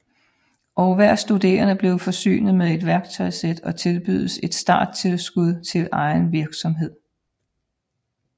Og hver studerende bliver forsynet med et værktøjssæt og tilbydes et starttilskud til egen virksomhed